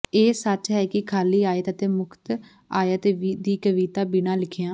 ਇਹ ਸੱਚ ਹੈ ਕਿ ਖਾਲੀ ਆਇਤ ਅਤੇ ਮੁਫ਼ਤ ਆਇਤ ਦੀ ਕਵੀਤਾ ਬਿਨਾ ਲਿਖਿਆ